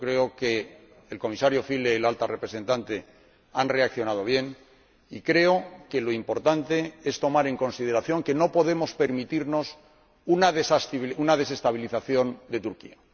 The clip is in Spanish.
Yo creo que el Comisario Füle y la Alta Representante han reaccionado bien y creo que lo importante es tomar en consideración que no podemos permitirnos una desestabilización de Turquía.